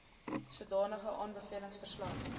sodanige aanbevelings verslag